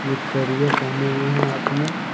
जो कारिया पहने हुए हैं हाथ में।